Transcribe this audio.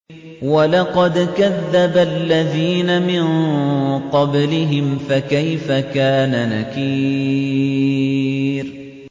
وَلَقَدْ كَذَّبَ الَّذِينَ مِن قَبْلِهِمْ فَكَيْفَ كَانَ نَكِيرِ